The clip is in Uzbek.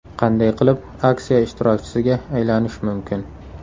Qanday qilib aksiya ishtirokchisiga aylanish mumkin?